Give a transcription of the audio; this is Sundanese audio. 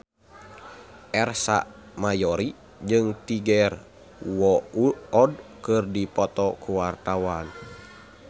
Ersa Mayori jeung Tiger Wood keur dipoto ku wartawan